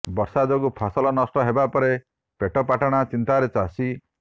ବର୍ଷା ଯୋଗୁ ଫସଲ ନଷ୍ଟ ହେବା ପରେ ପେଟପାଟଣା ଚିନ୍ତାରେ ଚାଷୀ